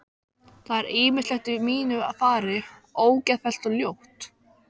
Það er ýmislegt í mínu fari ógeðfellt og ljótt.